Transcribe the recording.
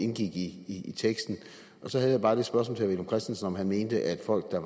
indgik i teksten og så havde jeg bare det spørgsmål til herre villum christensen om han mente at folk der